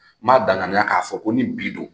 N ma bana na k'a fɔ ko ni bi don